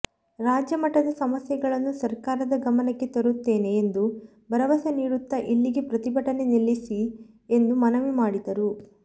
ರಾಜ್ಯಮಟ್ಟದ ಸಮಸ್ಯೆಗಳನ್ನು ಸರ್ಕಾರದ ಗಮನಕ್ಕೆ ತರುತ್ತೇನೆ ಎಂದು ಭರವಸೆ ನೀಡುತ್ತಾ ಇಲ್ಲಿಗೆ ಪ್ರತಿಭಟನೆ ನಿಲ್ಲಿಸಿ ಎಂದು ಮನವಿ ಮಾಡಿದರು